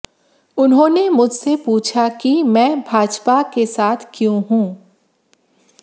उन्होंने मुझसे पूछा कि मैं भाजपा के साथ क्यों हूं